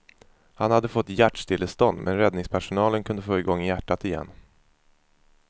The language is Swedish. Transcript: Han hade fått hjärtstillestånd, men räddningspersonalen kunde få igång hjärtat igen.